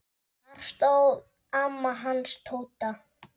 Þar stóð amma hans Tóta.